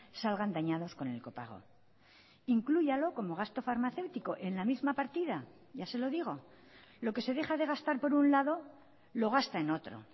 salgan dañados con el copago inclúyalo como gasto farmacéutico en la misma partida ya se lo digo lo que se deja de gastar por un lado lo gasta en otro